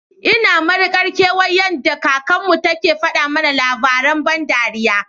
Ina Mari Kar kewan yada kakan mu, take fada mana lava rain ban dariya.